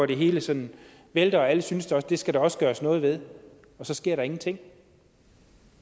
det hele sådan vælter og alle synes at det skal der også gøres noget ved og så sker der ingenting